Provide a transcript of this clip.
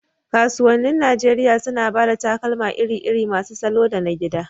Kasuwannin Najeriya suna ba da takalma iri-iri masu salo da na gida.